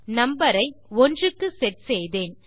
number ஐ 1 க்கு set செய்தேன்